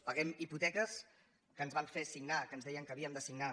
paguem hipoteques que ens van fer signar que ens deien que havíem de signar